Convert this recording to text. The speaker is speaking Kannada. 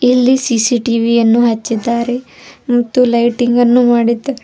ಇಲ್ಲಿ ಸಿ_ಸಿ_ಟಿ_ವಿ ಯನ್ನು ಹಚ್ಚಿದ್ದಾರೆ ಮತ್ತು ಲೈಟಿಂಗ್ ಅನ್ನು ಮಾಡಿದ್ದಾ --